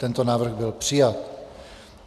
Tento návrh byl přijat.